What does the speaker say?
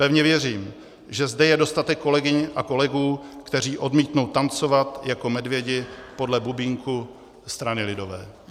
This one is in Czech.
Pevně věřím, že zde je dostatek kolegyň a kolegů, kteří odmítnou tancovat jako medvědi podle bubínku strany lidové.